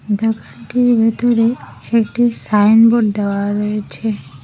দোকানটির ভিতরে একটি সাইনবোর্ড দেওয়া রয়েছে।